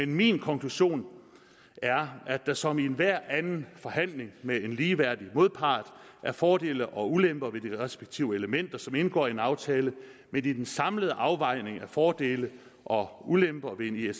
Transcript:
min konklusion er at der som i enhver anden forhandling med en ligeværdig modpart er fordele og ulemper ved de respektive elementer som indgår i en aftale men i den samlede afvejning af fordele og ulemper ved en